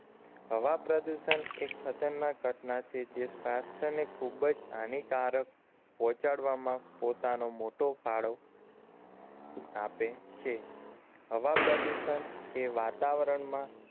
હવા પ્રદુષણ એક ખતરનાક ઘટના છે જે સ્વાસ્થ્યને ખુબજ હાનિકારક પહોંચાડવામાં પોતાનો મોટો ફાળો આપે છે હવા પ્રદુષણ એ વાતાવરણમાં